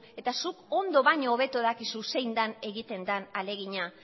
eta zuk ondo baino hobeto dakizu zein den egiten den ahalegina